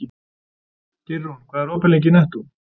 Geirrún, hvað er opið lengi í Nettó?